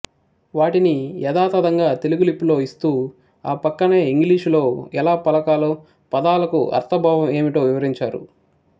వాటిని యథాతధంగా తెలుగు లిపిలో ఇస్తూ ఆ పక్కనే ఇంగ్లీషులో ఎలా పలకాలో పదాలకు అర్ధం భావం ఏమిటో వివరించారు